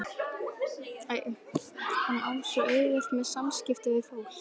Hann á svo auðvelt með samskipti við fólk.